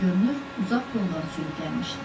Görünür, uzaq yoldan sürüb gəlmişdilər.